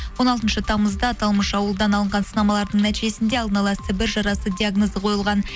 он алтыншы тамызда аталмыш ауылдан алынған сынамалардың нәтижесінде алдына ала сібір жарасы диагнозы қойылған